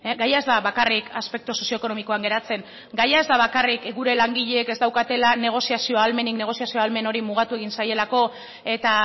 gaia ez da bakarrik aspektu sozioekonomikoan geratzen gaia ez da bakarrik gure langileek ez daukatela negoziazio ahalmenik negoziazio ahalmen hori mugatu egin zaielako eta